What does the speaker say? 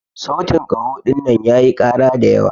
sautin kaho dinnan yayi kara da yawa.